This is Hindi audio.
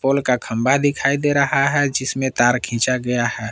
पोल का खंभा दिखाई दे रहा है जिसमें तार खींचा गया है।